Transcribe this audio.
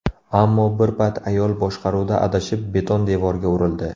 Ammo bir payt ayol boshqaruvda adashib, beton devorga urildi.